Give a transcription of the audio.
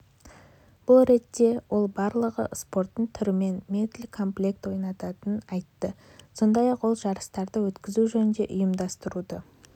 бұл ретте ол барлығы спорттың түрінен медль комплекті ойналатынын айтты сондай-ақ ол жарыстарды өткізу жөніндегі ұйымдастыруды